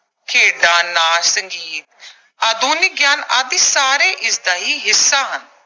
ਖੇਡਾਂ, ਨਾਚ, ਸੰਗੀਤ, ਆਧੁਨਿਕ ਗਿਆਨ ਆਦਿ ਸਾਰੇ ਇਸਦਾ ਹੀ ਹਿੱਸਾ ਹਨ।